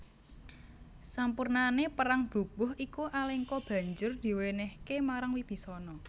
Sapurnané perang brubuh iku Alengka banjur diwènèhké marang Wibisana